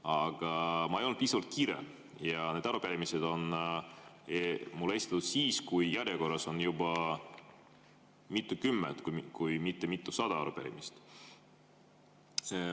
Aga ma ei olnud kuigi kiire ja need arupärimised on mul esitatud siis, kui järjekorras on juba mitukümmend, kui mitte mitusada arupärimist.